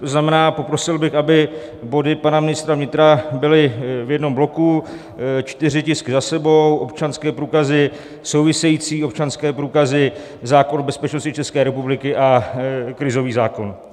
To znamená, poprosil bych, aby body pana ministra vnitra byly v jednom bloku, čtyři tisky za sebou: občanské průkazy, související občanské průkazy, zákon o bezpečnosti České republiky a krizový zákon.